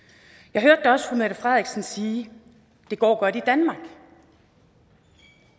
jeg hørte da også fru mette frederiksen sige det går godt i danmark